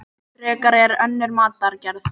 Frekar en önnur matargerð.